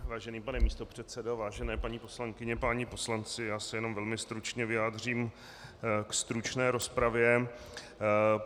Vážený pane místopředsedo, vážené paní poslankyně, páni poslanci, já se jenom velmi stručně vyjádřím k stručné rozpravě.